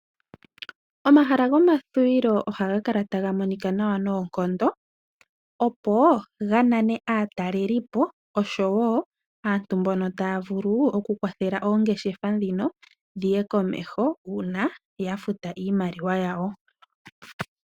Omahala gomathuwilo ohaga kala taga monika nawa noonkondo, opo ganane aataleli po osho woo aantu mbono taa vulu oku kwathele oongeshefa dhino dhiye komeho uuna yafuta iimaliwa yawo.